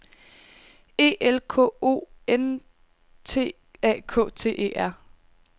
E L K O N T A K T E R